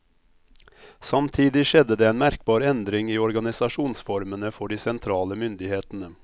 Samtidig skjedde det en merkbar endring i organisasjonsformene for de sentrale myndighetene.